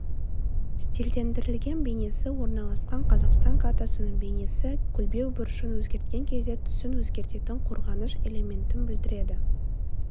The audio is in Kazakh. стильдендірілген бейнесі орналасқан қазақстан картасының бейнесі көлбеу бұрышын өзгерткен кезде түсін өзгертетін қорғаныш элементін білдіреді